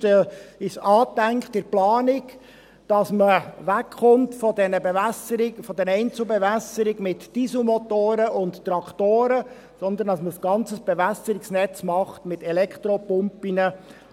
Zumindest ist in der Planung angedacht, dass man wegkommt von der Bewässerung, von der Einzelbewässerung mit Dieselmotoren und Traktoren, und dass man stattdessen ein ganzes Bewässerungsnetz macht mit Elektropumpen